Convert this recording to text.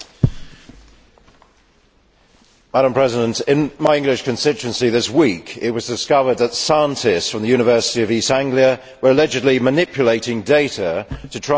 Madam President, in my English constituency this week, it was discovered that scientists from the University of East Anglia were allegedly manipulating data to try and prove man made global warming.